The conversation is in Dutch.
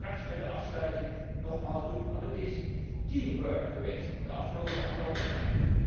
Ik zal dat straks bij de afsluiting nogmaals doen, want het is teamwork geweest het afgelopen anderhalf jaar.